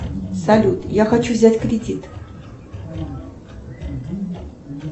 салют я хочу взять кредит